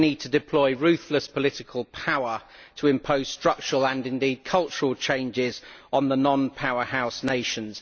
You would need to deploy ruthless political power to impose structural and, indeed, cultural changes on the non powerhouse nations.